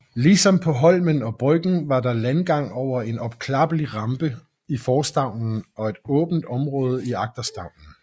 Ligesom på Holmen og Bryggen var der landgang over en opklappelig rampe i forstavnen og et åbent område i agterstavnen